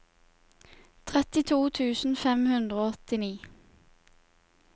trettito tusen fem hundre og åttini